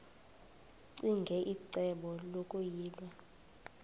ccinge icebo lokuyilwa